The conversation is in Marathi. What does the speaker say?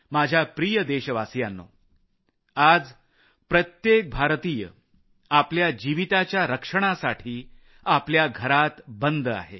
माझ्या प्रिय देशवासियांनो आज प्रत्येक भारतीय आपल्या आयुष्याच्या रक्षणासाठी आपल्या घरात बंद आहे